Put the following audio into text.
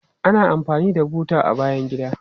Ana amfani da buta a bayan gida.